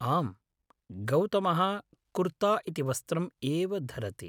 आम्, गौतमः कुर्ता इति वस्त्रम् एव धरति।